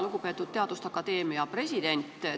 Lugupeetud teaduste akadeemia president!